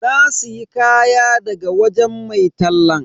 Na siya kaya daga wajen mai tallan.